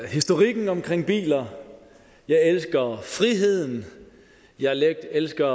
historikken omkring biler jeg elsker friheden jeg elsker